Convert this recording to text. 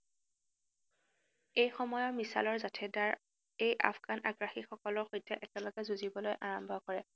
এইসময়ৰ মিছালৰ জাথেদাৰ এই আফগান আগ্ৰাসীসকলৰ সৈতে একেলগে যুজিবলৈ আৰম্ভ কৰে।